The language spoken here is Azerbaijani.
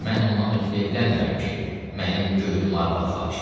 Mən ondan ötrü evlənmirəm ki, mənim könlüm arvad xahiş eləyir.